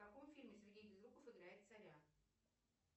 в каком фильме сергей безруков играет царя